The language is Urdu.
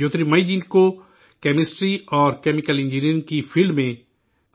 جیوترمئی جی کو کیمسٹری اور کیمیکل انجینئرنگ کی فیلڈ میں